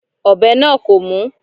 Ọ̀bẹ náà kò mú.